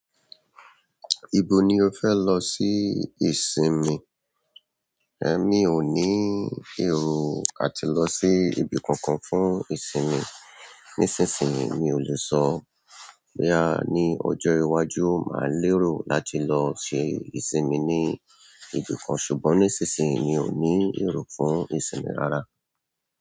Ibo ni o fẹ lo si ni ìsinmi. Emi o ní èrò láti lọ sí ibi kan kan fún ìsinmi nísinsìnyí ni oluso. Boya ní ọjọ́ iwájú, màá lero láti lọ ṣe ìsinmi ní ibì kan, ṣùgbọ́n nísinsìnyí mi ò ní èrò fún ìsinmi rara.